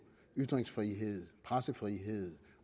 ytringsfrihed pressefrihed